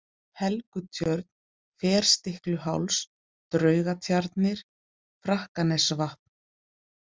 Helgutjörn, Ferstikluháls, Draugatjarnir, Frakkanesvatn